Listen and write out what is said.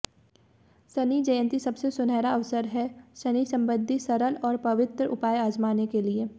शनि जयंती सबसे सुनहरा अवसर है शनि संबंधी सरल और पवित्र उपाय आजमाने के लिए